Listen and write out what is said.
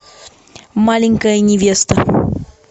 маленькая невеста